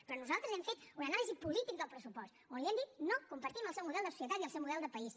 però nosaltres hem fet una anàlisi política del pressupost on li hem dit no compartim el seu model de societat i el seu model de país